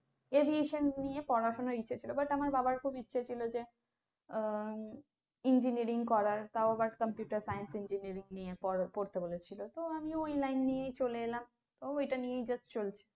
graduation নিয়ে পড়াশোনা করার ইচ্ছে ছিল। but আমার বাবার খুব ইচ্ছে ছিলো যে আহ engineering করার তাও আবার computer science engineering নিয়ে পড়তে বলেছিলো তো আমি ঐ line নিয়ে চলে এলাম, তো এটা নিয়ে just চলছে।